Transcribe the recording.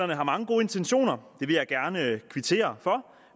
har mange gode intentioner det vil jeg gerne kvittere for